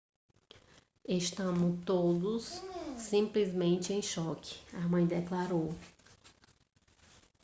estamos todos simplesmente em choque a mãe declarou